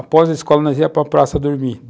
Após a escola, nós íamos para a praça dormir.